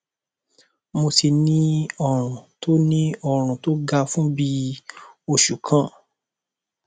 mo ti ní ọrùn tó ní ọrùn tó gan fún bí i oṣù kan